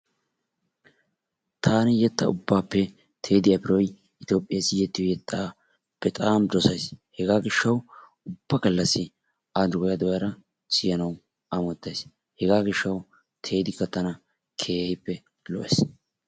Taani yetta ubbaappe teddy afroy itiyoophphiyassi yexo yettaa bexaam dosaysi. Hegaa gishshawu ubba gallassi a doya doyada siyanawu amottaysi hegaa gishshawu teddikka tana keehii lo'ees.